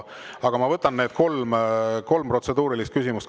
Aga ma võtan kolm protseduurilist küsimust.